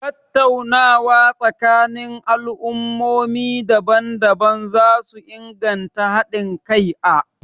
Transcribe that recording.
Tattaunawa tsakanin al'ummomi daban-daban za su inganta hadin kai.a